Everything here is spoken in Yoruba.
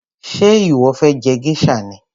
Ṣé ìwọ fé je geisha ni?